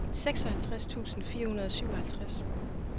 seksoghalvtreds tusind fire hundrede og syvoghalvtreds